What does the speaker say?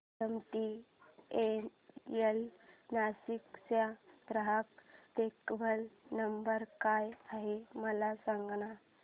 MTNL Nashik चा ग्राहक देखभाल नंबर काय आहे मला सांगाना